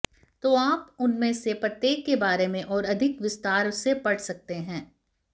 तो आप उनमें से प्रत्येक के बारे में और अधिक विस्तार से पढ़ सकते हैं